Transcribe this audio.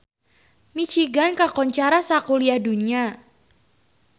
Michigan kakoncara sakuliah dunya